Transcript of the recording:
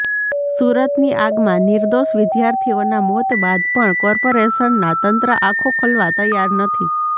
સુરતની આગમાં નિર્દોષ વિદ્યાર્થીઓના મોત બાદ પણ કોર્પોરેશનના તંત્ર આંખો ખોલવા તૈયાર નથી